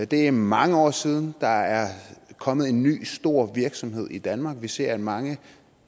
det er mange år siden der er kommet en ny stor virksomhed i danmark vi ser at mange